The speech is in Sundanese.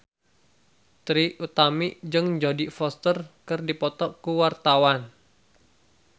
Trie Utami jeung Jodie Foster keur dipoto ku wartawan